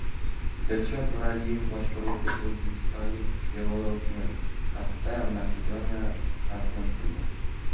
Dilshod Nuraliyev boshqaruvidagi o‘zbekistonliklar Development Cup’da Makedoniyani taslim qildi.